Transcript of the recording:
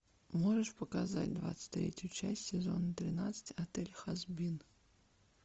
можешь показать двадцать третью часть сезона тринадцать отель хазбин